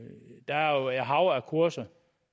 hav af kurser